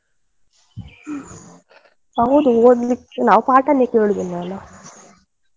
ಹ್ಮ್, ಹೌದು ಓದ್ಲಿಕ್ಕೆ ನಾವ್ ಪಾಠಾನೆ ಕೇಳುದಿಲ್ಲ ಅಲ್ಲ.